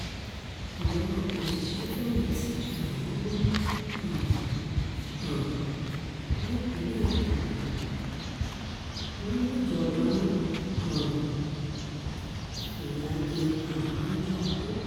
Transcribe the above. àwọn òṣìṣẹ́-fẹ̀yìntì fẹ̀hónú um hàn nípìnlẹ̀ ogun wọn níjọba ń um fìyà jẹ àwọn lọ́jọ́ ogbó